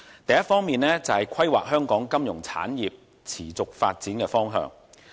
第一方面，是規劃香港金融產業持續發展的方向。